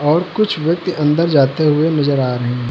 और कुछ व्यक्ति अंदर जाते हुए नजर आ रहे--